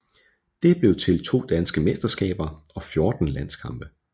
Det blev til to danske mesterskaber og 14 landskampe